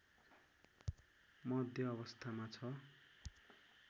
मध्य अवस्थामा छ